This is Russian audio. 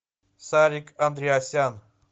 сарик андреасян